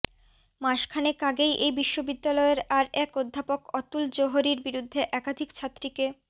মাসখানেক আগেই এই বিশ্ববিদ্যালয়ের আর এক অধ্য়াপক অতুল জোহরির বিরুদ্ধে একাধিক ছাত্রীকে